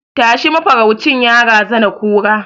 Tashi! mafaraucin ya razana kura